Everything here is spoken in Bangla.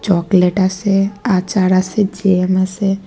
চকলেট আসে আচার আসে জ্যাম আসে।